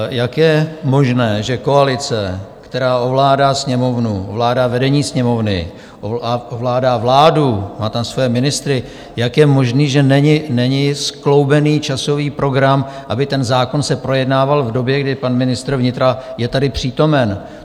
Jak je možné, že koalice, která ovládá Sněmovnu, ovládá vedení Sněmovny, ovládá vládu, má tam své ministry, jak je možné, že není skloubený časový program, aby ten zákon se projednával v době, kdy pan ministr vnitra je tady přítomen?